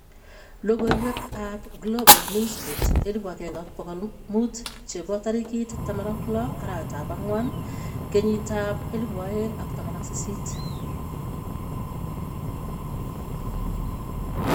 Logoiwek ab Global Newsbeat 1500 chebo tarikiit 16/04/2018